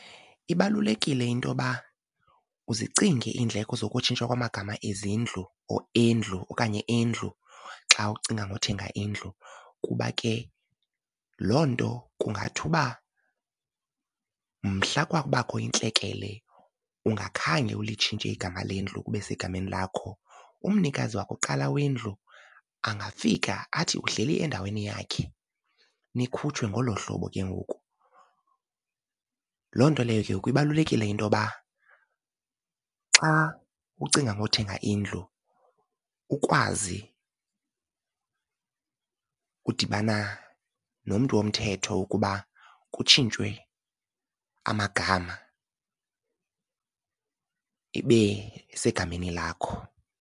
Ibalulekile into yoba uzicinge iindleko zokutshintsha kwamagama ezindlu or endlu okanye endlu xa ucinga ngothenga indlu kuba ke loo nto kungathi uba mhla kwakubakho intlekele ungakhange ulitshintshe igama lendlu kube segameni lakho, umnikazi wokuqala wendlu angafika athi uhleli endaweni yakhe nikhutshwe ngolo hlobo ke ngoku. Loo nto leyo ke kubalulekile into yoba xa ucinga ngothenga indlu ukwazi udibana nomntu womthetho ukuba kutshintshwe amagama ibe segameni lakho.